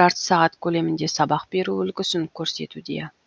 жарты сағат көлемінде сабақ беру үлгісін көрсетуде